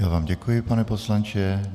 Já vám děkuji, pane poslanče.